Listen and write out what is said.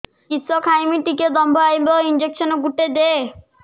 କିସ ଖାଇମି ଟିକେ ଦମ୍ଭ ଆଇବ ଇଞ୍ଜେକସନ ଗୁଟେ ଦେ